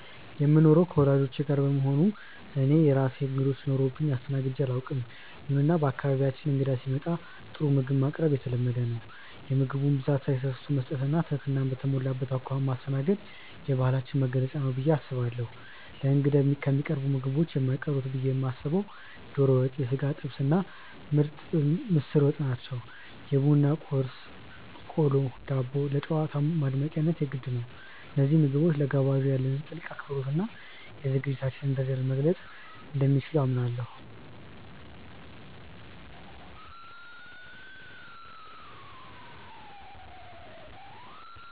የምኖረው ከወላጆቼ ጋር በመሆኑ እኔ የራሴ እንግዶች ኖረውብኝ አስተናግጄ አላውቅም። ይሁንና በአካባቢያችን እንግዳ ሲመጣ ጥሩ ምግብ ማቅረብ የተለመደ ነው። የምግቡን ብዛት ሳይሰስቱ መስጠት እና ትህትና በተሞላበት አኳኋን ማስተናገድ የባህላችን መገለጫ ነው ብዬ አስባለሁ። ለእንግዳ ከሚቀርቡት ምግቦች የማይቀሩት ብዬ የማስበው ዶሮ ወጥ፣ የሥጋ ጥብስ እና ምስር ወጥ ናቸው። የቡና ቁርስ (ቆሎ፣ ዳቦ) ለጨዋታው ማድመቂያነት የግድ ነው። እነዚህ ምግቦች ለጋባዡ ያለንን ጥልቅ አክብሮት እና የዝግጅታችንን ደረጃ መግለፅ እንደሚችሉ አምናለሁ።